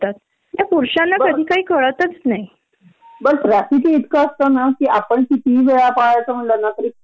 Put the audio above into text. सुरू होई पर्यन्त सहा होतात आणि अगदी निरार्थ डिसकशन असत किंवा त्याला काही एम नसत बेस नसतो